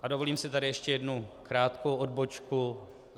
A dovolím si tady ještě jednu krátkou odbočku.